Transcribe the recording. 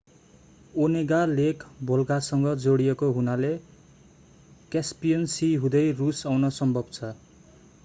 Onega lake भोल्गासँग जोडिएको हुनाले क्यासपियन सी हुँदै रूस आउन सम्भव छ